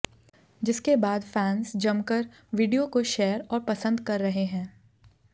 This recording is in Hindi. जिसके बाद फैंस जमकर वीडियो को शेयर और पसंद कर रहे है